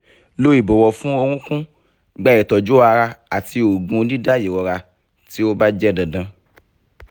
lo ibọwọ fun orokun gba itọju ara ati oogun dida irora ti o ba jẹ dandan